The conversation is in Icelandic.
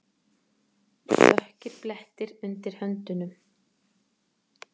Dökkir blettir undir höndunum.